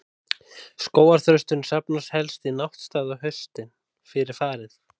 Skógarþrösturinn safnast helst í náttstaði á haustin, fyrir farið.